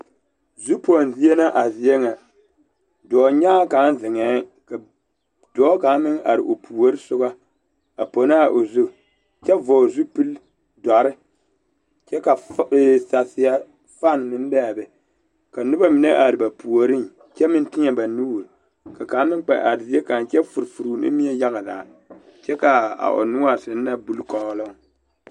Zupoŋ zie la a zie ŋa dɔɔnyaŋaa kaŋ zeŋɛɛ ka dɔɔ kaŋ meŋ are o puori soba a pono a o zu kyɛ vɔgle zupili dɔre kyɛ ka ee saseɛ fane meŋ be a be ka noba mine are ba puoriŋ kyɛ meŋ teɛ ba nuuri ka kaŋ meŋ kpɛ are zie kaŋ kyɛ furi furi o nimie yaga lɛ kyɛ k,a o noɔre seŋ na buli kɔɔloŋ.